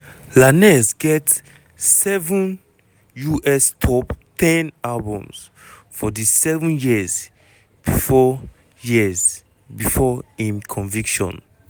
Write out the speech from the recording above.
lanez get seven us top ten albums for di seven years bifor years bifor im conviction.